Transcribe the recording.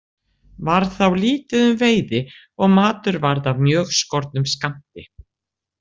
Varð þá lítið um veiði og matur varð af mjög skornum skammti.